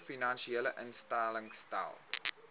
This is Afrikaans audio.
finansiële instellings stel